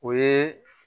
O ye